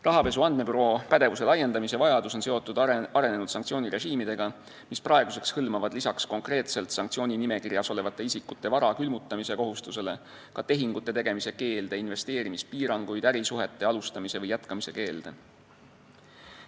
Rahapesu andmebüroo pädevuse laiendamise vajadus on seotud arenenud sanktsioonirežiimidega, mis praeguseks hõlmavad lisaks konkreetselt sanktsiooninimekirjas olevate isikute vara külmutamise kohustusele ka tehingute tegemise keelde, investeerimispiiranguid, ärisuhete alustamise või jätkamise keelde.